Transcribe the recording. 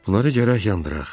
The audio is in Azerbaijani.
Bunları gərək yandıraq.